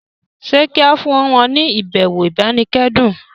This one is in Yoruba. ṣe ki a fún wọn ni ibẹwo ibanikẹdun?